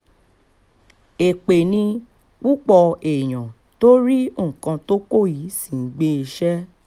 èpè ni púpọ̀ èèyàn tó rí nǹkan tó kọ yìí ṣì ń gbé e ṣe